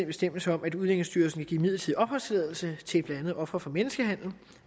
bestemmelse om at udlændingestyrelsen kan give midlertidig opholdstilladelse til blandt andet ofre for menneskehandel